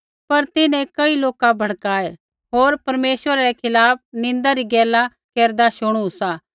पर तिन्हैं कई लोका भड़काए होर ते बोलदै लागै कि आसै ऐ मूसा होर परमेश्वरै रै खिलाफ़ निन्दा री गैला केरदा शुणू सा